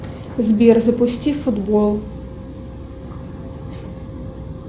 сбер запусти футбол